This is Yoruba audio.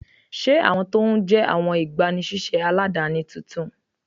Ṣé awọn tó ń jẹ́ awọn igbàníṣéṣé aládánì tóntún?